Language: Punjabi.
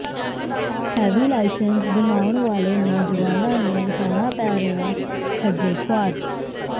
ਹੈਵੀ ਲਾਈਸੈਂਸ ਬਣਾਉਣ ਵਾਲੇ ਨੌਜਵਾਨਾਂ ਨੰੂ ਹੋਣਾ ਪੈ ਰਿਹਾ ਖੱਜਲ ਖੁਆਰ